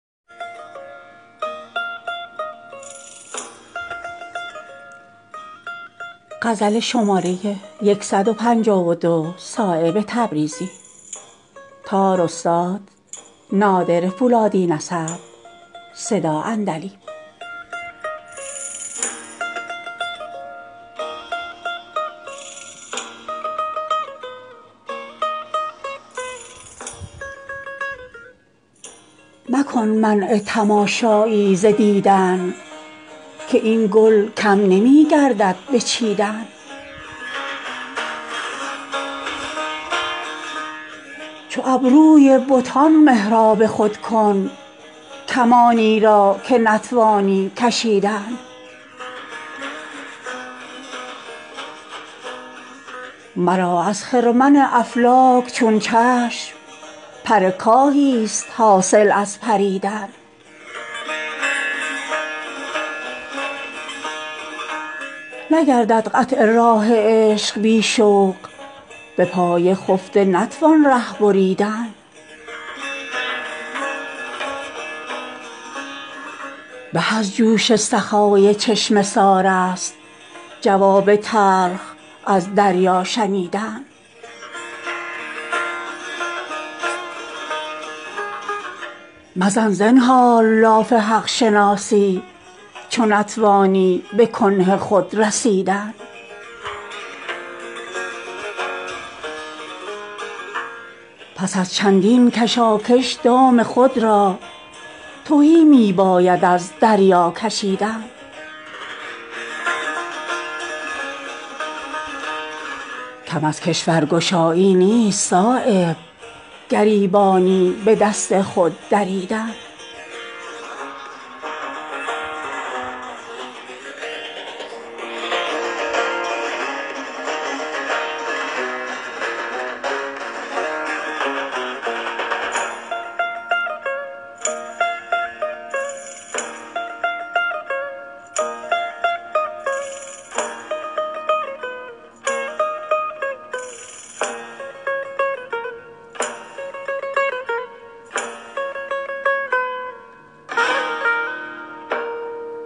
مکن منع تماشایی ز دیدن که این گل کم نمی گردد به دیدن کسی چون چشم بردارد ز رویی که مانع شد عرق را از چکیدن تو چون در جلوه آیی سرو و گل را فرامش می شود قامت کشیدن مرا دست از دهان شکوه برداشت گل از تغییر رنگ یار چیدن ز خط گر پر برآری چون پریزاد ز دام عشق نتوانی پریدن مرا از خرمن افلاک چون چشم پر کاهی است حاصل از پریدن دل وحشی چنان رام تو گردید که جست از خاطرش فکر رمیدن کمند گردن صید مرادست ز مردم رشته الفت بریدن درین محفل گر از روشندلانی چو شمع انگشت خود باید گزیدن به منزل بار خود افکنده بودم اگر می رفت ره پیش از تپیدن نگردد قطع راه عشق بی شوق به پای خفته نتوان ره بریدن به از جوش سخای چشمه سارست جواب تلخ از دریا شنیدن قناعت کن که چشم حرص را نیست به زیر خاک چون دام آرمیدن مزن زنهار لاف حق شناسی چو نتوانی به کنه خود رسیدن پس ازین چندین کشاکش دام خود را تهی می باید از دریا کشیدن کم از کشورگشایی نیست صایب گریبانی به دست خود دریدن